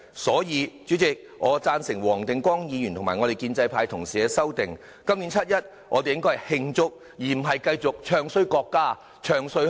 因此，主席，我贊成黃定光議員和建制派同事的修正案，今年七一，我們應該慶祝，而不是繼續"唱衰"國家，"唱衰"香港。